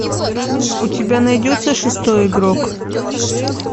у тебя найдется шестой игрок